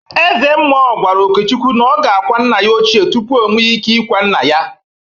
Ezemmụọ gwara Okechukwu na ọ ga-akwa nna ya ochie tupu ọ nwe ike ikwa nna ya!